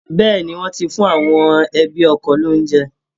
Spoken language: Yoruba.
Bẹ́ẹ̀ ni, wọ́n ti fún àwọn ẹbi ọkọ ní òunjẹ